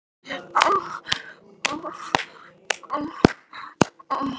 Þær sitja í eldhúsinu og drekka kók.